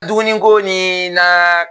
Dumuni ko ni na